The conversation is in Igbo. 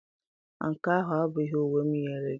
Nke ahụ abụghị uwe m nyere gị.